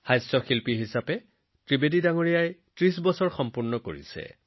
ভাই জগদীশ ত্ৰিবেদীজীয়ে ৩০ বছৰতকৈও অধিক সময় ধৰি কমেডিয়ান হিচাপে নিজৰ প্ৰভাৱ প্ৰতিষ্ঠা কৰি আহিছে